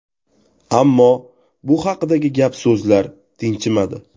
Ammo bu haqidagi gap-so‘zlar tinchimadi.